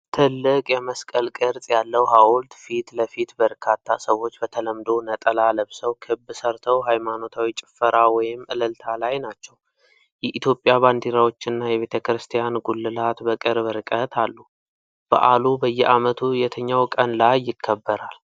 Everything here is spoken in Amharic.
ትልቅ የመስቀል ቅርጽ ያለው ሐውልት ፊት ለፊት በርካታ ሰዎች በተለምዶ ነጠላ ለብሰው ክብ ሰርተው ሃይማኖታዊ ጭፈራ ወይም እልልታ ላይ ናቸው። የኢትዮጵያ ባንዲራዎችና የቤተክርስቲያን ጉልላት በቅርብ ርቀት አሉ። በዓሉ በየዓመቱ የትኛው ቀን ላይ ይከበራል?